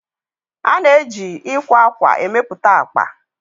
A na-eji ịkwa akwa emepụta akpa.